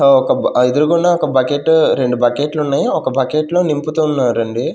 ఓ ఒక బ ఎదురగుండా ఒక బకెట్ రెండు బకెట్లున్నాయ్ ఒక బక్కెట్ లో నింపుతున్నారండి.